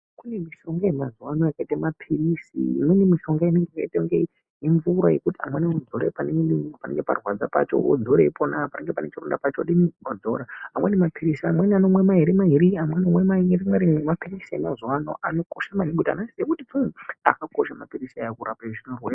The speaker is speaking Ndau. Kune mishonga yemazuwa ano yakaite maphirizi. Imweni mishonga yakaite unge mvura yekuti amweni anodzore panenge parwadza pachona, pachironda vopadzora. Amweni maphirizi anomwa mairi mairi, amweni rimwe rimwe. Maphirizi emazuwa ano akakosha maningi ngekuti uuu anokosha maphirizi aya kurape zvirwere.